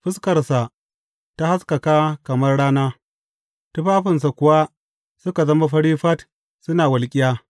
Fuskarsa ta haskaka kamar rana, tufafinsa kuwa suka zama fari fat suna walƙiya.